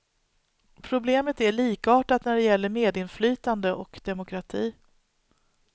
Problemet är likartat när det gäller medinflytande och demokrati.